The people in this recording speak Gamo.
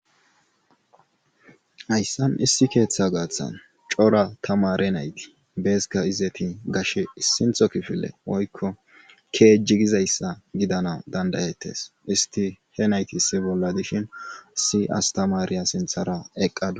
Hayssan issi keeththa gaaththan cora tamare nayti beeska izeti gashe issintho kifile oykko keejjigizayssa gidana dandayettes isti he nayti issi bolla dishin si astamariya sinthara eqqadu.